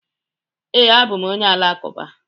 ee, abụ m onye Alakụba